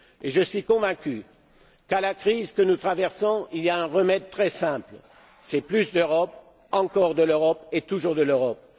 Je suis convaincu qu'à la crise que nous traversons, il y a un remède très simple c'est plus d'Europe, encore de l'Europe et toujours de l'Europe!